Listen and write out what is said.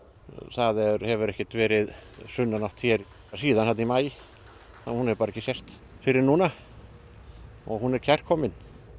það hefur ekki verið sunnanátt hér síðan þarna í maí hún hefur bara ekki sést fyrr en núna og hún er kærkomin